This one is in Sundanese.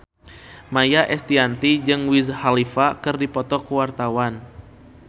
Maia Estianty jeung Wiz Khalifa keur dipoto ku wartawan